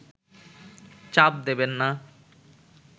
চাপ দেবেন না